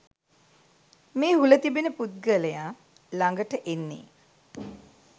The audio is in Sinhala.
මේ හුල තිබෙන පුද්ගලයා ළඟට එන්නේ.